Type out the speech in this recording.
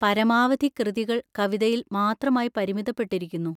പരമാവധി കൃതികൾ കവിതയിൽ മാത്രമായി പരിമിതപ്പെട്ടിരിക്കുന്നു.